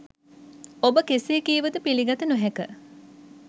ඔබ කෙසේ කීවද පිළිගත නොහැක.